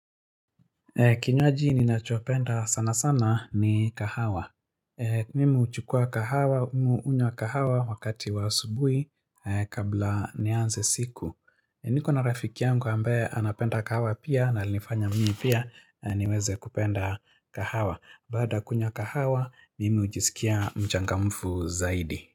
Kinywaji ninachopenda sana sana ni kahawa Mimi huchukua kahawa, mi hunywa kahawa wakati wa asubuhi kabla nianze siku niko na rafiki yangu ambaye anapenda kahawa pia na alifanya mimi pia niweze kupenda kahawa Baada kunywa kahawa, mimi hujisikia mchangamfu zaidi.